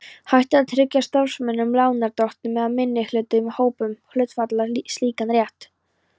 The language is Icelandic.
hægt að tryggja starfsmönnum, lánardrottnum eða minnihlutahópum hluthafa slíkan rétt.